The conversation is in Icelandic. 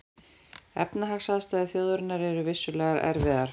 Efnahagsaðstæður þjóðarinnar eru vissulega erfiðar